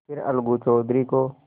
फिर अलगू चौधरी को